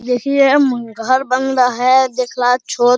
देखिए घर बन रहा है देखला छत --